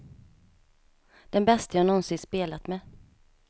Den bäste jag någonsin spelat med.